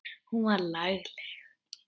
Hún var lagleg.